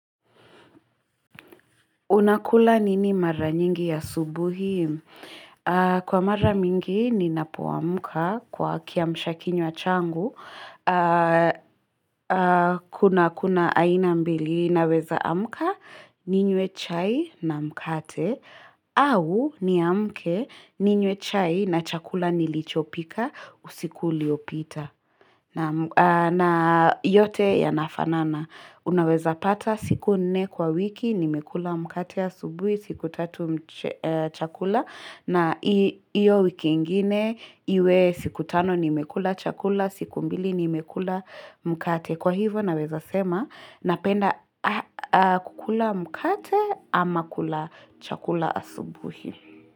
Unakula nini mara nyingi asubuhi? Kwa mara mingi ni napoa muka kwa kiamshakinywachangu. Kuna kuna aina mbili na weza amuka ninywe chai na mkate. Au ni amke ninywe chai na chakula nilichopika usiku liopita. Na yote ya nafanana. Unaweza pata siku nne kwa wiki nimekula mkate asubuhi siku tatu chakula na iyo wiki ingine iwe siku tano nimekula chakula siku mbili nimekula mkate kwa hivo naweza sema napenda kukula mkate ama kula chakula asubuhi.